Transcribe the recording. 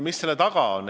Mis selle lause taga on?